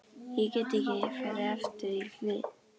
Ég get ekki farið aftur í hlið